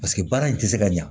Paseke baara in tɛ se ka ɲɛ